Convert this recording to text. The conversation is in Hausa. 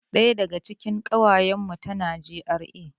Ɗaya daga cikin ƙawayan mu tana GRA